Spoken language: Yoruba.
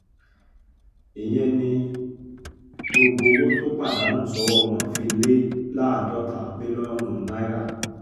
ìyẹn ni gbogbo owó tó pàdánù sọ́wọ́ wọn fi lé láàádọ́ta mílíọ̀nù náírà